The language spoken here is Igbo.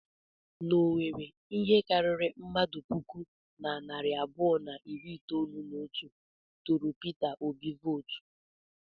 N'Owerri, ihe karịrị mmadụ puku na narị abụọ na iri itolu na otu tụụrụ Pita Obi vootu.